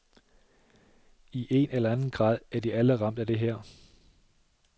I en eller anden grad er de alle ramt af det her.